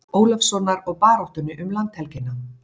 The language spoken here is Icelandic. Ólafssonar og baráttunni um landhelgina.